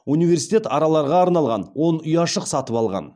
университет араларға арналған он ұяшық сатып алған